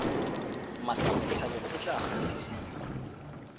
mmatla botshabelo e tla gatisiwa